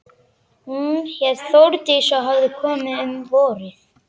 Hún hét Þórdís og hafði komið um vorið.